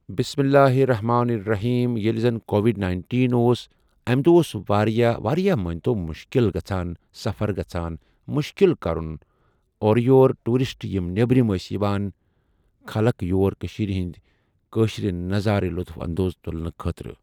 بِسْمِ ٱللَّٰهِ ٱلرَّحْمَٰنِ ٱلرَّحِيمِ ییٚلِہِ زن کووِڈ نایٔنٹیٖن اوس امہِ دۄہ اوس واریاہ مٲنتو واریاہ مُشکِل گَژھان سَفَر گَژھان مُشکِل کَرُن اورٕ یورٕ ٹوٗرِسٹ یِم نؠبرِم ٲسۍ یِوان خَلق یور کشمیٖرِ ہنٛدۍ کٲشرِ نَظارٕ یہِ لُطُف اَندوز تُلنہٕ خٲطرٕ۔